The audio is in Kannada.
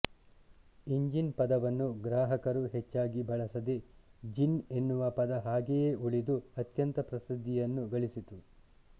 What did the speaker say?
ಇಂಜಿನ್ ಪದವನ್ನು ಗ್ರಾಹಕರು ಹೆಚ್ಚಾಗಿ ಬಳಸದೆ ಜಿನ್ ಎನ್ನುವ ಪದ ಹಾಗೆಯೇ ಉಳಿದು ಅತ್ಯಂತ ಪ್ರಸಿದ್ಧಿಯನ್ನು ಗಳಿಸಿತು